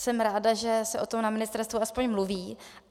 Jsem ráda, že se o tom na ministerstvu aspoň mluví.